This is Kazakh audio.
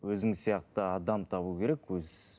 өзің сияқты адам табу керек